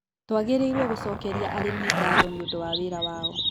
Tũagĩrĩirwo gũcokeria arĩmĩ gatho nĩũndũ wa wĩra wao